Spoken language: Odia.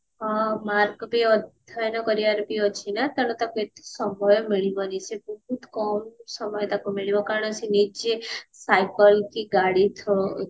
ହଁ mark ବି ଅଧ୍ୟୟନ କରିବାର ଅଛି ନା ତାକୁ ଏତେ ସମୟ ମିଳିବନି ସେ ବହୁତ କମ ସମୟ ତାକୁ ମିଳିବ କାରଣ ସେ ନିଜେ cycle କି ଗାଡି through